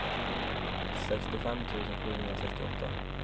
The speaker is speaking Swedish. sextiofem tusen sjuhundrasextioåtta